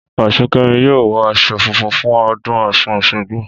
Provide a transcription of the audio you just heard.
Ọ̀ṣunkẹmi yóò wọ aṣọ funfun fún ọdún ọ̀ṣun òṣogbo